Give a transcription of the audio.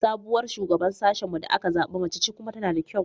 Sabuwar Shugaban Sashen mu da aka zaɓa mace ce kuma tana da kyau.